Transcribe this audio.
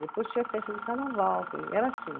Depois tinha festa de carnaval que, era assim.